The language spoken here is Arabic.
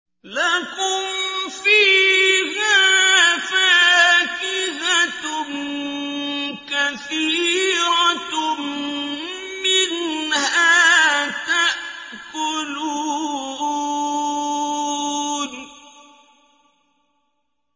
لَكُمْ فِيهَا فَاكِهَةٌ كَثِيرَةٌ مِّنْهَا تَأْكُلُونَ